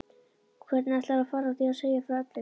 Hvernig ætlarðu að fara að því að segja frá öllu?